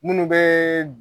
Minnu bɛ